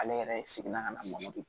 Ale yɛrɛ seginna ka na mɔbili